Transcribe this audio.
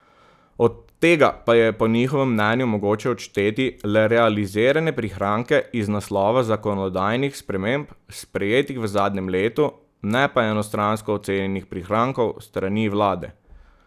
Od tega pa je po njihovem mnenju mogoče odšteti le realizirane prihranke iz naslova zakonodajnih sprememb, sprejetih v zadnjem letu, ne pa enostransko ocenjenih prihrankov s strani vlade.